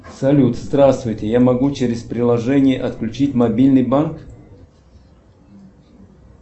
салют здравствуйте я могу через приложение отключить мобильный банк